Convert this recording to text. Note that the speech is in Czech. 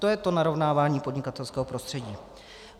To je to narovnávání podnikatelského prostředí.